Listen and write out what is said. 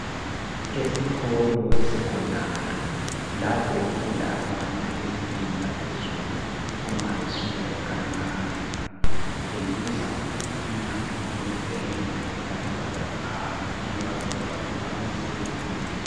Esikolo se-secondary lapho okufunda abantu ezingeni laphezulu umabeseka e-primary kutshengisa umnyango wezenge lama-burglur bar; ayiwo avikela ukuba amasela engangeni.